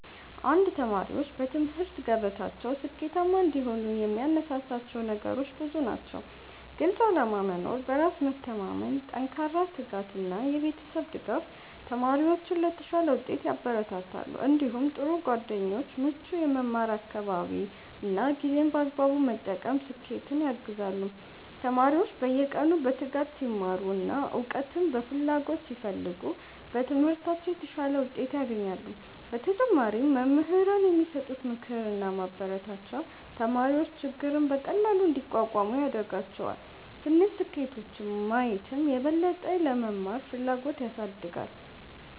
1ተማሪዎች በትምህርት ገበታቸው ስኬታማ እንዲሆኑ የሚያነሳሳቸው ነገሮች ብዙ ናቸው። ግልፅ ዓላማ መኖር፣ በራስ መተማመን፣ ጠንካራ ትጋት እና የቤተሰብ ድጋፍ ተማሪዎችን ለተሻለ ውጤት ያበረታታሉ። እንዲሁም ጥሩ ጓደኞች፣ ምቹ የመማር አካባቢ እና ጊዜን በአግባቡ መጠቀም ስኬትን ያግዛሉ። ተማሪዎች በየቀኑ በትጋት ሲማሩ እና እውቀትን በፍላጎት ሲፈልጉ በትምህርታቸው የተሻለ ውጤት ያገኛሉ። በተጨማሪም መምህራን የሚሰጡት ምክርና ማበረታቻ ተማሪዎች ችግርን በቀላሉ እንዲቋቋሙ ያደርጋቸዋል። ትንሽ ስኬቶችን ማየትም የበለጠ ለመማር ፍላጎት ያሳድጋል።